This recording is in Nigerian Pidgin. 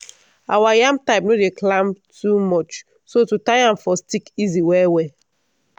our yam type no dey climb too much so to tie am for stick easy well-well.